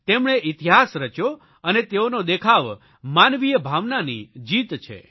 તેમણે ઇતિહાસ રચ્યો અને તેઓનો દેખાવ માનવીય ભાવનાની જીત છે